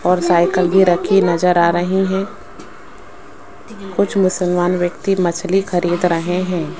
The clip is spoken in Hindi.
और साइकिल भी रखी नजर आ रही है कुछ मुसलमान व्यक्ति मछली खरीद रहे हैं।